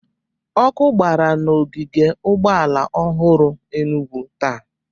Ọkụ gbara n'ogige ụgbọala ọhụrụ Enugwu taa